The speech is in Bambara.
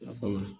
Lafaamuya